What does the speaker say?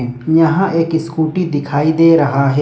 एक यहां एक स्कूटी दिखाई दे रहा है।